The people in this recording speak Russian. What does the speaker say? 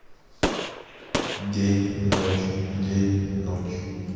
день ночь день ночь